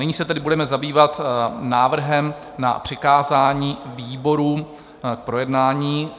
Nyní se tedy budeme zabývat návrhem na přikázání výboru k projednání.